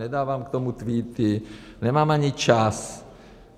Nedávám k tomu tweety, nemám ani čas.